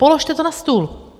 Položte to na stůl.